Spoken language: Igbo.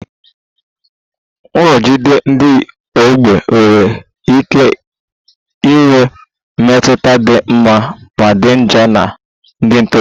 Nrụgide ndị ọgbọ nwere ike inwe mmetụta dị mma ma dị njọ na ndị ntorobịa